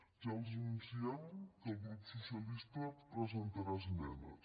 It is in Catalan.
ja els anunciem que el grup socialista presentarà esmenes